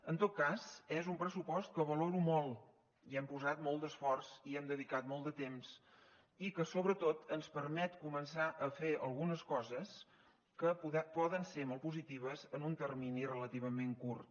en tot cas és un pressupost que valoro molt hi hem posat molt d’esforç hi hem dedicat molt de temps i que sobretot ens permet començar a fer algunes coses que poden ser molt positives en un termini relativament curt